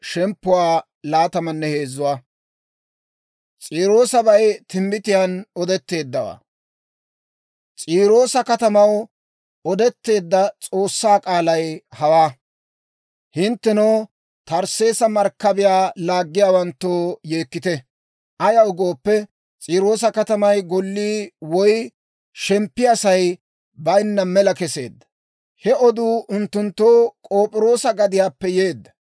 S'iiroosa katamaw odetteedda S'oossaa k'aalay hawaa. Hinttenoo Tarsseesa markkabiyaa laaggiyaawanttoo yeekkite! Ayaw gooppe, S'iiroosa katamay gollii woy shemppiyaasay bayinna mela keseedda; he oduu unttunttoo K'op'iroosa gadiyaappe yeedda.